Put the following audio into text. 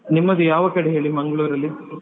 ನಿಮ್ಮದು ಯಾವ ಕಡೆ ಹೇಳಿ Mangalore ಅಲ್ಲಿ.